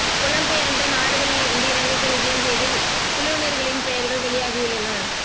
புலம் பெயர்ந்த நாடுகளில் இருந்து இலங்கைக்கு விஜயம் செய்து குழுவினர்களின் பெயர்கள் வெளியாகியுள்ளன